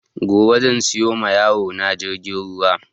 Gobe zan siya ma yaro na jirgin ruwa